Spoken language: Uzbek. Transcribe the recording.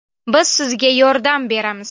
Biz Sizga yordam beramiz.